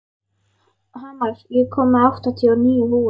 Hamar, ég kom með áttatíu og níu húfur!